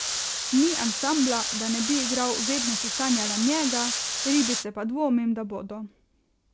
Ni ansambla, da ne bi igral Vedno si sanjala njega, Ribice pa dvomim, da bodo.